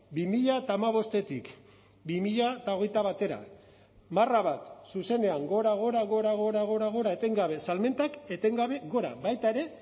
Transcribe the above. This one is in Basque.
bi mila hamabostetik bi mila hogeita batera marra bat zuzenean gora gora gora gora gora gora etengabe salmentak etengabe gora baita ere